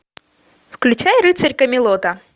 включай рыцарь камелота